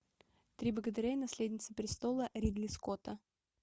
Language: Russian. три богатыря и наследница престола ридли скотта